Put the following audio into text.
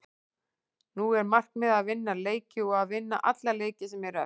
Nú er markmiðið að vinna leiki og að vinna alla leiki sem eru eftir.